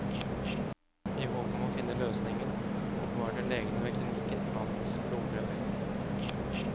I håp om å finne løsningen, oppbevarte legene ved klinikken mannens blodprøver.